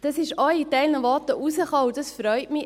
Aus einigen Voten konnte man heraushören und das freut mich: